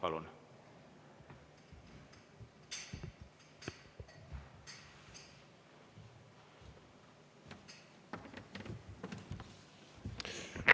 Palun!